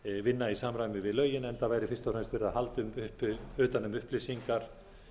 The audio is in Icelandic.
vinna í samræmi við lögin enda væri fyrst og fremst verið að halda utan um upplýsingar